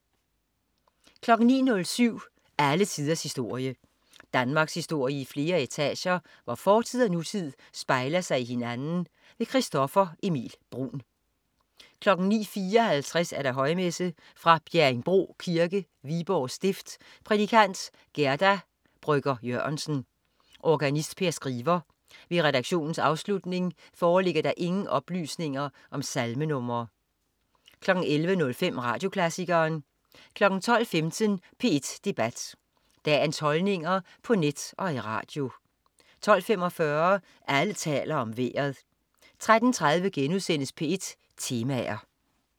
09.07 Alle tiders historie. Danmarkshistorie i flere etager, hvor fortid og nutid spejler sig i hinanden. Christoffer Emil Bruun 09.54 Højmesse. Fra Bjerringbro Kirke, Viborg stift. Prædikant: Gerda Brøcher Jørgensen. Organist: Per Skriver. Ved redaktionens aflutning foreligger der ingen oplysninger om salmenr 11.05 Radioklassikeren 12.15 P1 Debat. Dagens holdninger på net og i radio 12.45 Alle taler om Vejret 13.30 P1 Temaer*